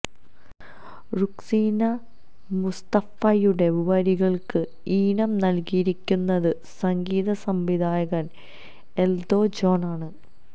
റുക്സീന മുസ്തഫയുടെ വരികള്ക്ക് ഈണം നല്കിയിരിക്കുന്നത് സംഗീത സംവിധായകന് എല്ദോ ജോണ് ആണ്